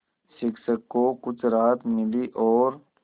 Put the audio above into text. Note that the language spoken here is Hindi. शिक्षक को कुछ राहत मिली और